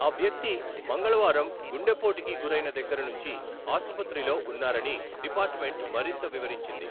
ఆ వ్యక్తి మంగళవారం గుండెపోటుకి గురైన దగ్గర నుంచి ఆసుపత్రిలో ఉన్నారని డిపార్ట్మెంట్ మరింత వివరించింది.